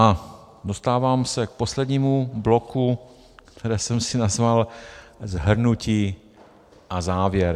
A dostávám se k poslednímu bloku, který jsem si nazval Shrnutí a závěr.